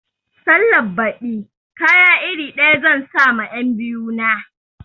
Sallan baɗi kaya iri ɗaya zan sa ma 'yan biyu na